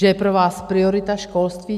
Že je pro vás priorita školství?